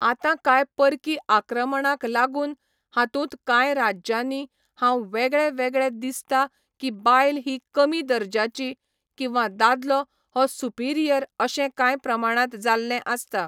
आतां काय परकी आक्रमणाक लागून हातूंत काय राज्यांनी हांव वेगळे वेगळे दिसता की बायल ही कमी दर्ज्याची, किंवा दादलो हो सुपिरियर अशें काय प्रमाणांत जाल्लें आसता.